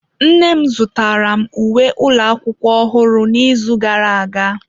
Nne m zụtara m uwe ụlọ akwụkwọ ọhụrụ n'izu gara aga.